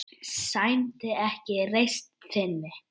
Það sæmdi ekki reisn þinni.